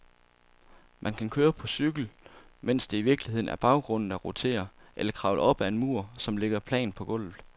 Man kan køre på cykel, mens det i virkeligheden er baggrunden, der roterer, eller kravle op ad en mur, som ligger plant på gulvet.